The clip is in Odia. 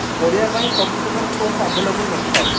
ପଢିବା ପାଇଁ ସବୁ ପ୍ରକାର source available ନ ଥାଏ